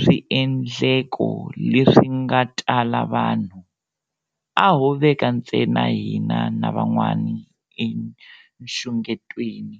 swiendleko leswi nga tala vanhu, a ho veka ntsena hina na van'wana enxungetweni.